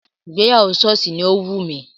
Ìgbéyàwó sọ́ọ̀sì ni ó wù mí